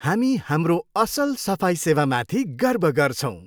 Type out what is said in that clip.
हामी हाम्रो असल सफाइ सेवामाथि गर्व गर्छौँ।